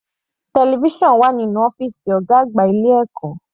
Television wà nínú ọ́fìsì ọ̀gá àgbà ilé ẹ̀kọ́.